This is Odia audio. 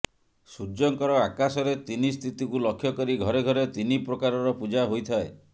ସୂର୍ଯ୍ୟଙ୍କର ଆକାଶରେ ତିନି ସ୍ଥିତିକୁ ଲକ୍ଷ୍ୟ କରି ଘରେ ଘରେ ତିନି ପ୍ରକାରର ପୂଜା ହୋଇଥାଏ